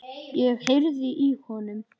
Ég heyrði í honum!